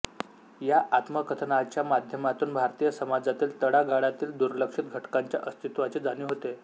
या आत्मकथनाच्या माध्यमातून भारतीय समाजातील तळागाळातील दुर्लक्षित घटकाच्या अस्तित्त्वाची जाणीव होते